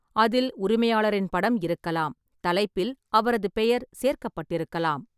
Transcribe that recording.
அதில் உரிமையாளரின் படம் இருக்கலாம், தலைப்பில் அவரது பெயர் சேர்க்கப்பட்டிருக்கலாம்.